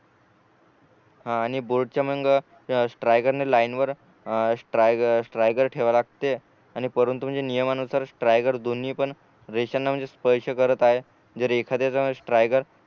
हा आणि बोर्डच्या मग स्ट्रायगरणी लाईनवर स्ट्राय स्ट्रायगर ठेवा लागते आणि वरून तुम्ही नियमानुसार स्ट्रायगर दोन्ही पण रेषांना म्हणजे स्पर्श करत आहे जर एखाद्याला जर स्ट्रायगर